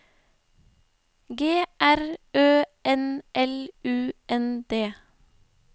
G R Ø N L U N D